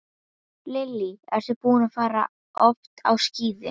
Lillý: Ertu búinn að fara oft á skíði?